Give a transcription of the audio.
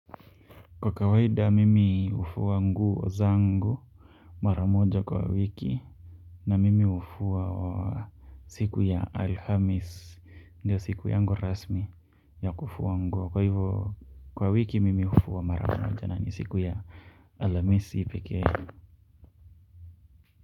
Kwa kawaida mimi hufua nguo zangu mara moja kwa wiki. Na mimi hufuwa wa siku ya Alhamisi ndio siku yangu rasmi ya kufua nguo kwa hivyo kwa wiki mimi hufua mara moja na ni siku ya Alhamisi pekee.